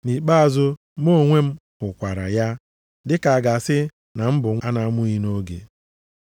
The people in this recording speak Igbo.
Nʼikpeazụ, mụ onwe m hụkwara ya, dịka a ga-asị na m bụ nwa a na-amụghị nʼoge.